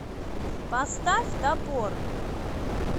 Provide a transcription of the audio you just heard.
поставь топор